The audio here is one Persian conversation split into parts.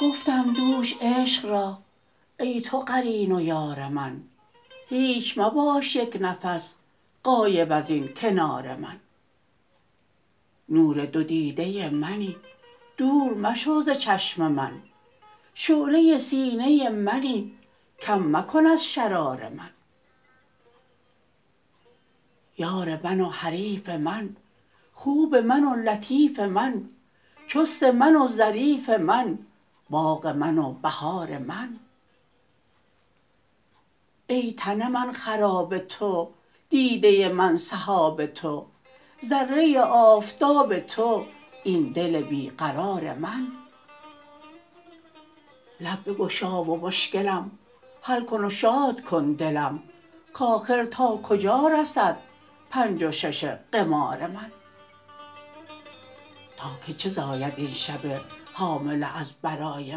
گفتم دوش عشق را ای تو قرین و یار من هیچ مباش یک نفس غایب از این کنار من نور دو دیده منی دور مشو ز چشم من شعله سینه منی کم مکن از شرار من یار من و حریف من خوب من و لطیف من چست من و ظریف من باغ من و بهار من ای تن من خراب تو دیده من سحاب تو ذره آفتاب تو این دل بی قرار من لب بگشا و مشکلم حل کن و شاد کن دلم کآخر تا کجا رسد پنج و شش قمار من تا که چه زاید این شب حامله از برای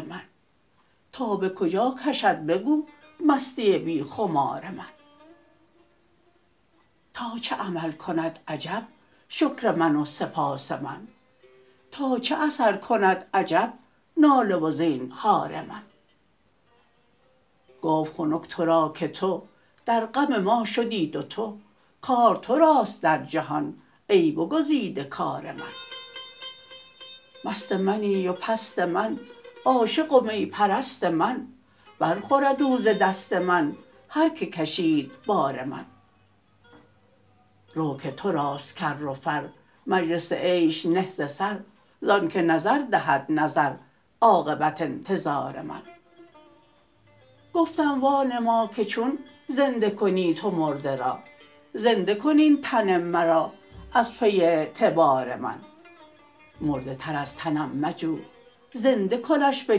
من تا به کجا کشد بگو مستی بی خمار من تا چه عمل کند عجب شکر من و سپاس من تا چه اثر کند عجب ناله و زینهار من گفت خنک تو را که تو در غم ما شدی دوتو کار تو راست در جهان ای بگزیده کار من مست منی و پست من عاشق و می پرست من برخورد او ز دست من هر کی کشید بار من رو که تو راست کر و فر مجلس عیش نه ز سر زانک نظر دهد نظر عاقبت انتظار من گفتم وانما که چون زنده کنی تو مرده را زنده کن این تن مرا از پی اعتبار من مرده تر از تنم مجو زنده کنش به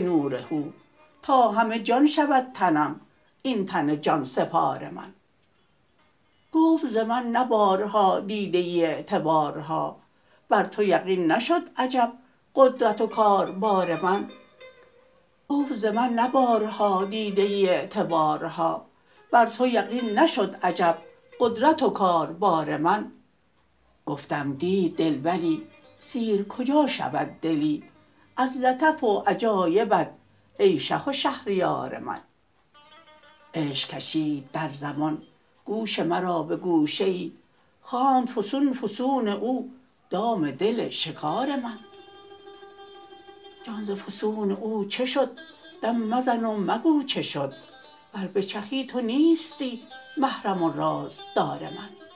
نور هو تا همه جان شود تنم این تن جان سپار من گفت ز من نه بارها دیده ای اعتبارها بر تو یقین نشد عجب قدرت و کاربار من گفتم دید دل ولی سیر کجا شود دلی از لطف و عجایبت ای شه و شهریار من عشق کشید در زمان گوش مرا به گوشه ای خواند فسون فسون او دام دل شکار من جان ز فسون او چه شد دم مزن و مگو چه شد ور بچخی تو نیستی محرم و رازدار من